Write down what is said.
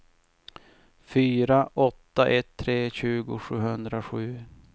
fyra åtta ett tre tjugo sjuhundrasju